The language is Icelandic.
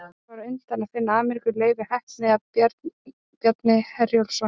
Hvor var á undan að finna Ameríku, Leifur heppni eða Bjarni Herjólfsson?